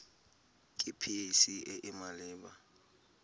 ke pac e e maleba